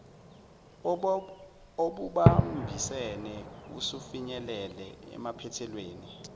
obubambisene usufinyelele emaphethelweni